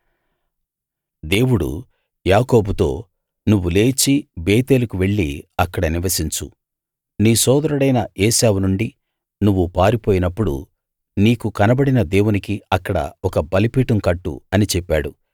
దేవుడు యాకోబుతో నువ్వు లేచి బేతేలుకు వెళ్ళి అక్కడ నివసించు నీ సోదరుడైన ఏశావు నుండి నువ్వు పారిపోయినప్పుడు నీకు కనబడిన దేవునికి అక్కడ ఒక బలిపీఠం కట్టు అని చెప్పాడు